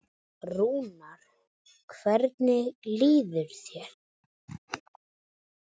Rúnar, hvernig líður þér?